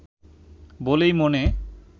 বলেই মনে